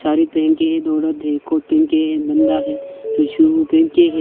साड़ी पहन के ये दो औरत है कोट पहन के एक बंदा है जो शू पहन के है।